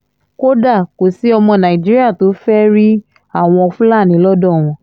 kódà kò sí ọmọ nàìjíríà tó fẹ́ẹ́ rí àwọn fúlàní lọ́dọ̀ wọn